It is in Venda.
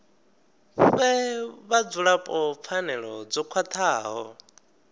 fhe vhadzulapo pfanelo dzo khwathaho